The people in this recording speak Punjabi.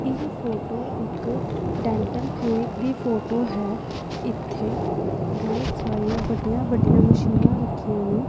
ਇਹ ਫੋਟੋ ਇੱਕ ਡੈਂਟਲ ਕੇਅਰ ਦੀ ਫੋਟੋ ਹੈ ਇਥੇ ਬਹੁਤ ਸਾਰੇ ਵੱਡੀਆਂ ਵੱਡੀਆਂ ਮਸ਼ੀਨਾਂ ਰੱਖੀਆਂ ਨੇ।